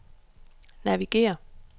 navigér